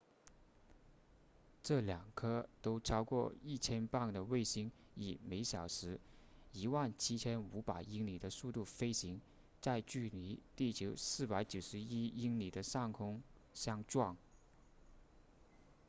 这两颗都超过 1,000 磅的卫星以每小时 17,500 英里的速度飞行在距离地球491英里的上空相撞